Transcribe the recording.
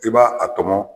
I b'a a tɔmɔ